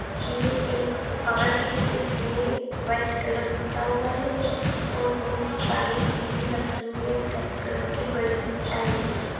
ये एक दुकान है इसमे व्हाइट कलर पुता हुआ है और बहुत सारी टीवी लगी हुई है ब्लैक कलर की बड़ी एलसीडी --